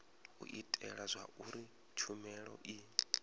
u itela zwauri tshumelo i